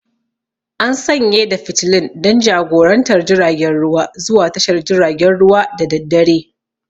An sanye da fitilun don jagorantar jiragen ruwa zuwa tashar jiragen ruwa da daddare.